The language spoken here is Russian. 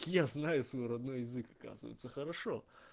я знаю свой родной язык оказывается хорошо